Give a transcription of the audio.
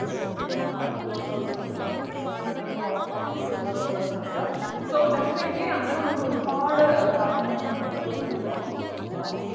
സ്വപ്നം കണ്ടുകൊണ്ടുള്ളൊരു ഏർ കണ്ടുകൊണ്ടുള്ള അവസ്ഥയാണ് ഇനി നിങ്ങൾക്കുള്ളത് ന്നു അറിയാം so definitely അങ്ങനെ നമ്മളൊരുപാട് കാര്യങ്ങള് നമ്മുടെ mind ലൂടെ പോവുമ്പം ആഹ്